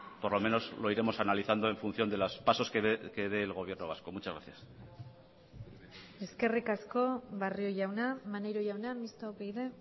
por lo menos lo iremos analizando en función de los pasos que dé el gobierno vasco muchas gracias eskerrik asko barrio jauna maneiro jauna mistoa upyd